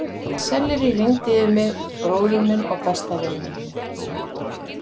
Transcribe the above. Selleríi rigndi yfir mig, bróður minn og besta vin minn.